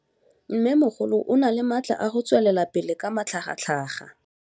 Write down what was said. Mmêmogolo o na le matla a go tswelela pele ka matlhagatlhaga.